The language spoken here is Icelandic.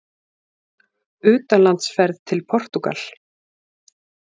UTANLANDSFERÐ TIL PORTÚGAL